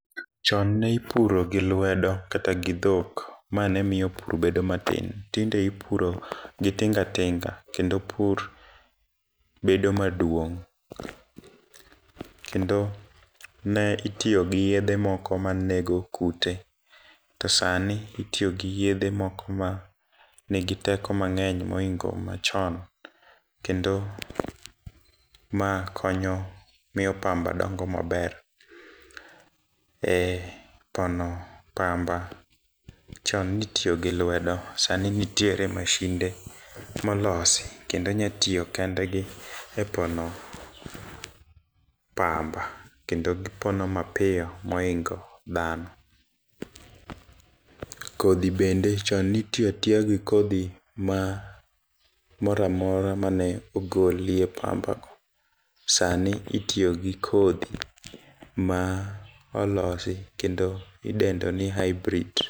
Chon nipuro gi lwedo kata gi dhok ma ne miyo pur bedo matin tinede ipuro gi tingatinga kendo pur bedo maduong' . Kendo ne itiyo gi yedhe moko manego kute to sani itiyo gi yedhe moko ma nigi teko mang'eny moingo machon kendo ma konyo miyo pamba dongo maber. E pono pamba chon nitiyo gi lwedo sani ntie mashinde molosi kendo nya tiyo kendgi e pono pamba kendo gipono mapiyo moingo dhano. Kodhi bende chon nitiya tiya gi kodhi ma moramora mane ogolie pamba go . Sani itiyo gi kodhi ma olosi kendo idendo ni hibrid